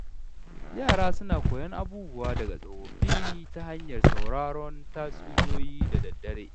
Yara suna koyon abubuwa daga tsofaffi ta hanyar sauraron tatsuniyoyi da daddare.